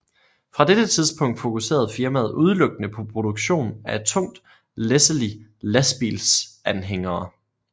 Fra dette tidspunkt fokuserede firmaet udelukkende på produktion af tungt læsselige lastbilsanhængere